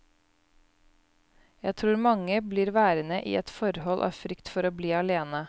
Jeg tror mange blir værende i et forhold av frykt for å bli alene.